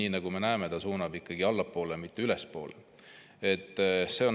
Ja nagu me näeme, ta suunab seda ikkagi allapoole, mitte ülespoole.